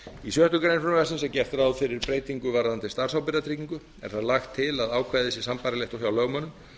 í sjöttu greinar frumvarpsins er gert ráð fyrir breytingu varðandi starfsábyrgðartryggingu er þar lagt til að ákvæðið sé sambærilegt og hjá lögmönnum